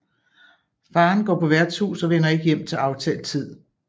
Faderen går på værtshus og vender ikke hjem til aftalt tid